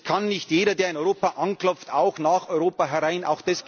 Es kann nicht jeder, der in Europa anklopft, auch nach Europa herein.